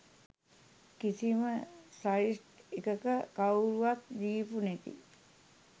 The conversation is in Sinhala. කිසිම සයිට් එකක කවුරුවත් දීපු නැති